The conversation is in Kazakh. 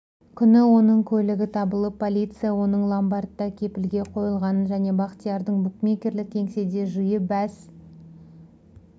күні оның көлігі табылып полиция оның ломбардта кепілге қойылғанын және бақтиярдың букмекерлік кеңседе жиі бәс